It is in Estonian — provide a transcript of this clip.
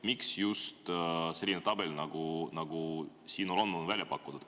Miks just selline tabel, nagu siin on välja pakutud?